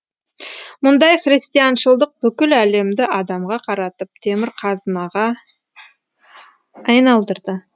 мұндай христианшылдық бүкіл әлемді адамға қаратып темірқазығына айналдырды